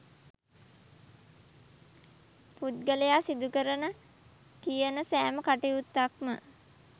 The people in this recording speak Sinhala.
පුද්ගලයා සිදුකරන කියන සෑම කටයුත්තක්ම